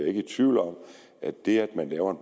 ikke i tvivl om at det at man laver